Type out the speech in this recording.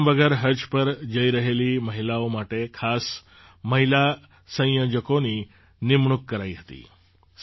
મેહરમ વગર હજ પર જઈ રહેલી મહિલાઓ માટે ખાસ મહિલા સંયોજકોની નિમણૂક કરાઈ હતી